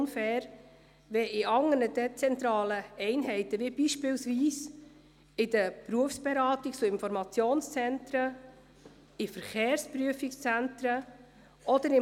Das ist nicht irgendeine Interpretation, welche die Regierung vorgenommen hat.